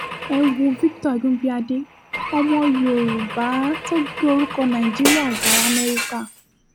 ẹ wo victor agunbíàdé ọmọ yorùbá tó gbé orúkọ nàìjíríà ga lamẹ́ríkà